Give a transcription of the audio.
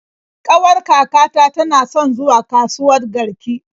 Ƙawar kakata tana son zuwa kasuwat Garki.